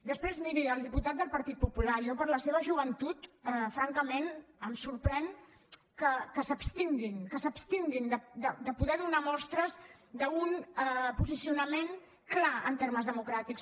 després miri al diputat del partit popular jo per la seva joventut francament em sorprèn que s’abstinguin que s’abstinguin de poder donar mostres d’un posicionament clar en termes democràtics